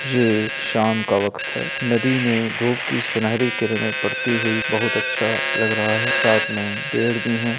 ये शाम का वक्त है नदी में धूप की सुनहरी किरणें पड़ती हुई बहोत अच्छा लग रहा है साथ में पेड़ भी है।